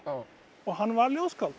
og hann var ljóðskáld